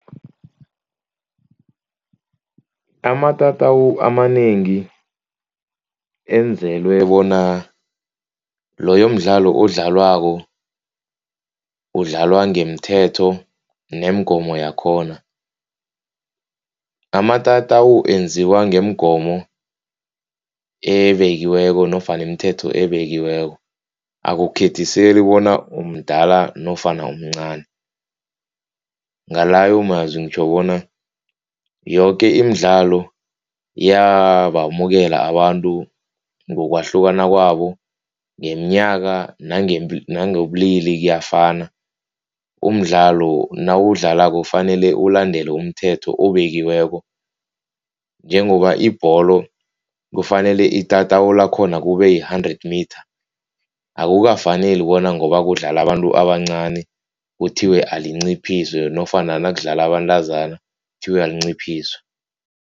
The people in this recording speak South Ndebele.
Amatatawu amanengi enzelwe bona loyo mdlalo odlalwako udlalwa ngemithetho nemgomo yakhona. Amatatawu enziwa ngeemgomo ebekiweko nofana imithetho ebekiweko akukhethiseli bona umdala nofana umncani. Ngalayo mazwi ngitjho bona yoke imidlalo iyabamukela abantu ngokwahlukana kwabo. Ngeminyaka nangobulili kuyafana umdlalo nawudlalako kufanele ulandele umthetho obekiweko njengoba ibholo kufanele itatawu lakhona kube yi-hundred mitha. Akukafaneli bona ngoba kudlala abantu abancani kuthiwe alinciphiswe nofana nakudlala abantazana kuthiwe alinciphiswe.